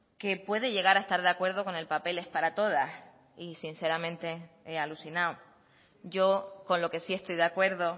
que puede llegar a estar de acuerdo con el papeles para todas y sinceramente he alucinado yo con lo que sí estoy de acuerdo